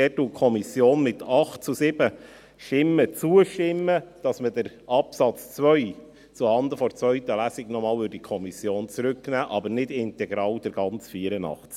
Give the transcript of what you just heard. Dort stimmt die Kommission mit 8 zu 7 Stimmen zu, dass der Absatz 2 zuhanden der zweiten Lesung noch einmal zurück in die Kommission genommen wird, nicht aber integral der ganze Artikel 84.